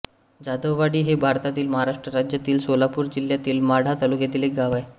जाधववाडी हे भारतातील महाराष्ट्र राज्यातील सोलापूर जिल्ह्यातील माढा तालुक्यातील एक गाव आहे